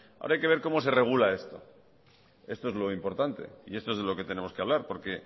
ahora hay que ver cómo se regula esto esto es lo importante y esto es de lo que tenemos que hablar porque